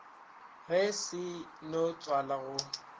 ge di seno tswala go